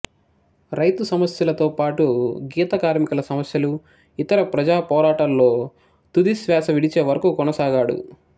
రైతు సమస్యలతో పాటు గీత కార్మికుల సమస్యలు ఇతర ప్రజాపోరాటాల్లో తుది శ్వాస విడిచే వరకు కొనసాగాడు